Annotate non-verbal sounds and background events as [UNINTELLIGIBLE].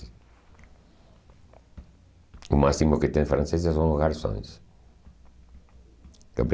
O máximo que tem francês é são os garçons. [UNINTELLIGIBLE]